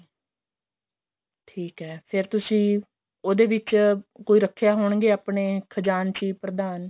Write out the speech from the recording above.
ਠੀਕ ਹੈ ਫੇਰ ਤੁਸੀਂ ਉਹਦੇ ਵਿੱਚ ਕੋਈ ਰੱਖੇ ਹੋਣਗੇ ਆਪਣੇ ਖਜਾਨਚੀ ਪ੍ਰਧਾਨ